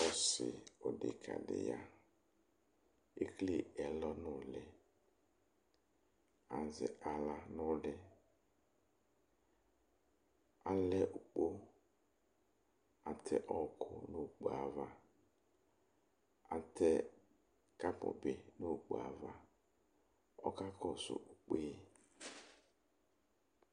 Ɔssi oɖekã ɖi ya Ekele ɛlɔ nu ũlih Azɛ aɣla nu ũlih Alɛ ukpó, àtɛ ɔɣɔku nu ukpó yɛ ãvã Àtɛ kãpu bi nu ukpó yɛ ãvã Ɔka kɔsu ugbe